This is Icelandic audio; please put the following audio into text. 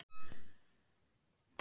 Þar hafa menn beitt tvenns konar nálgun.